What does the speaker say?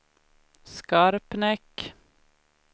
Skarpnäck